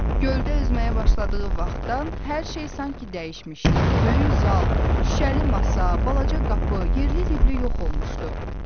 Göldə üzməyə başladığı vaxtdan hər şey sanki dəyişmişdi, böyük zal, şüşəli masa, balaca qapı, yerli dibli yox olmuşdu.